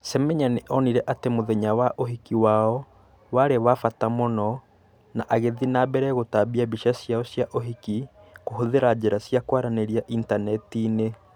Semenya nĩ onire atĩ mũthenya wa ũhiki wao warĩ wa bata mũno na agĩthiĩ na mbere gũtambia mbica ciao cia ũhiki kũhũthĩra njĩra cia kwaranĩria Intaneti-inĩ.